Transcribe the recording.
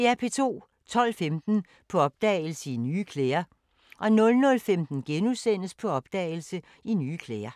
12:15: På opdagelse – I nye klæder 00:15: På opdagelse – I nye klæder *